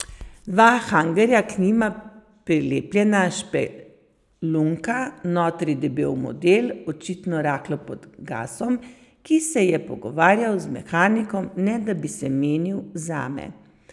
Dva hangarja, k njima prilepljena špelunka, notri debel model, očitno rahlo pod gasom, ki se je pogovarjal z mehanikom, ne da bi se menil zame.